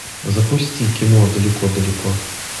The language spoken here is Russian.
запусти кино далеко далеко